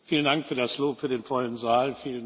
Vielen Dank für das Lob für den vollen Saal.